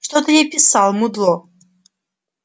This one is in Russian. что ты ей писал мудло